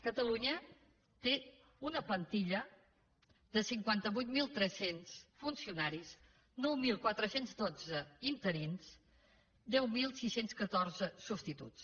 catalunya té una plantilla de cinquanta vuit mil tres cents funcionaris nou mil quatre cents i dotze interins i deu mil sis cents i catorze substituts